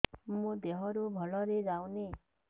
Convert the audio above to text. ମୋ ଦିହରୁ ଭଲରେ ଯାଉନି